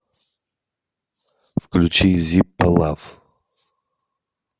включи зиппо лав